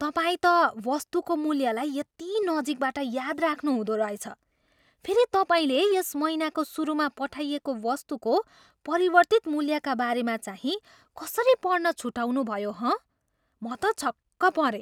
तपाईँ त वस्तुको मूल्यलाई यति नजिकबाट याद राख्नुहुँदो रहेछ। फेरि तपाईँले यस महिनाको सुरुमा पठाइएको वस्तुको परिवर्तित मूल्यका बारेमा चाहिँ कसरी पढ्न छुटाउनुभयो, हँ? म त छक्क परेँ।